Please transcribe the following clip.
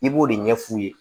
I b'o de ɲɛ f'u ye